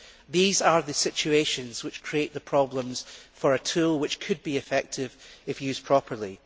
These are the situations which create the problems for a tool which could be effective if used properly.